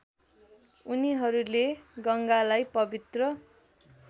उनीहरूले गङ्गालाई पवित्र